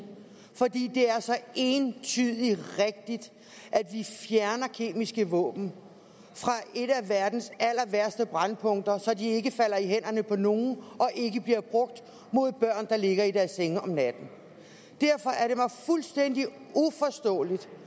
fordi det er så entydigt rigtigt at vi fjerner kemiske våben fra et af verdens allerværste brændpunkter så de ikke falder i hænderne på nogen og ikke bliver brugt mod børn der ligger i deres senge om natten derfor er det mig fuldstændig uforståeligt